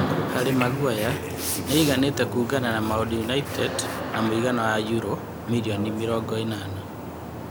Harĩ Maguere: Nĩ aiganĩte kũũngana na Maũndũ United na mũigana wa yuro mirioni mĩrongo-ĩnana ?